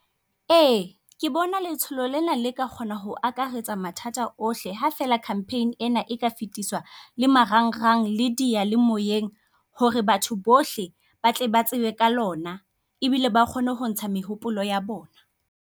Ee ke bona letsholo lena le ka kgona ho akaretsa mathata ohle, ha fela campaign ena e ka le marang rang, le diyalemoyeng hore batho bohle ba tle ba tsebe ka lona. Ebile ba kgone ho ntsha mehopolo ya bona.